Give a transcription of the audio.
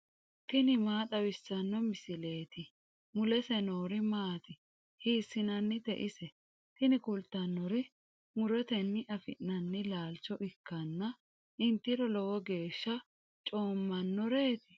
tini maa xawissanno misileeti ? mulese noori maati ? hiissinannite ise ? tini kultannori murotenni afi'nanni laalcho ikkanna intiro lowo geeshsha coommannoreeti.